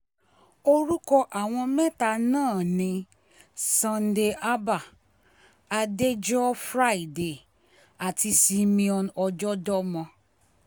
orúkọ àwọn mẹ́ta náà ni sunday abah adéjọ́ friday àti simeon ọjọ́dọ́mọ